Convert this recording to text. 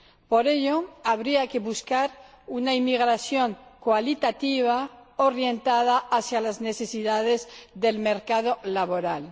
Por ello, habría que buscar una inmigración cualitativa orientada hacia las necesidades del mercado laboral.